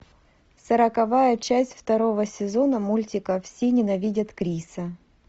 сороковая часть второго сезона мультика все ненавидят криса